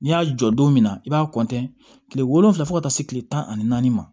N'i y'a jɔ don don min na i b'a kile wolonwula fo ka taa se kile tan ani naani ma